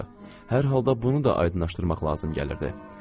Hər halda bunu da aydınlaşdırmaq lazım gəlirdi.